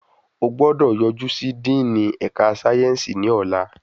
O gbọ́dọ̀ yojú sí díìnì ẹ̀ka sáyẹ́nsì ní ọlá.